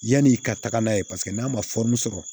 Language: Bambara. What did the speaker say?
Yanni ka taga n'a ye paseke n'a ma sɔrɔ